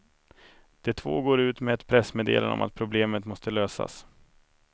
De två går ut med ett pressmeddelande om att problemet måste lösas.